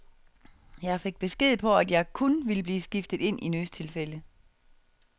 Jeg fik besked på, at jeg kun ville blive skiftet ind i nødstilfælde.